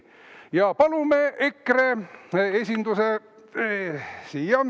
Ja palume siia EKRE esinduse.